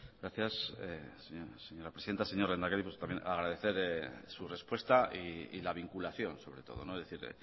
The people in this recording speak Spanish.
gracias señora presidenta señor lehendakari pues también agradecerle su respuesta y la vinculación sobre todo es decir